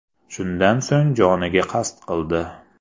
Shundan so‘ng joniga qasd qildi.